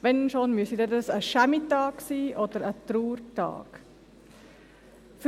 Wenn schon, dann müsste dies ein Tag des Schämens oder ein Trauertag sein.